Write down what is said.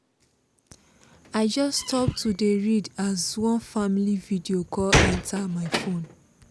i just stop to dey read as one family video call enter my phone